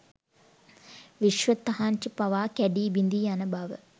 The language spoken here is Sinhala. විශ්ව තහංචි පවා කැඞී බිඳී යන බව